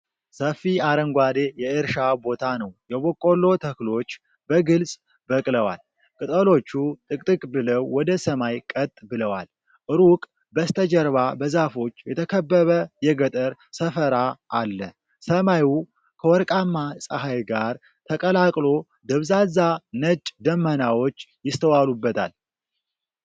ሰፊ አረንጓዴ የእርሻ ቦታ ነው። የበቆሎ ተክሎች በግልጽ በቅለዋል፤ ቅጠሎቹ ጥቅጥቅ ብለው ወደ ሰማይ ቀጥ ብለዋል። ሩቅ በስተጀርባ በዛፎች የተከበበ የገጠር ሰፈራ አለ። ሰማዩ ከወርቃማ ፀሐይ ጋር ተቀላቅሎ ደብዛዛ ነጭ ደመናዎች ይስተዋሉበታል።